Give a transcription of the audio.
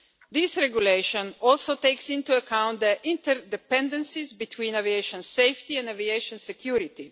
This regulation also takes into account the interdependencies between aviation safety and aviation security.